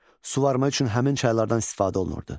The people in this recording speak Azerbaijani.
Suvarma üçün həmin çaylardan istifadə olunurdu.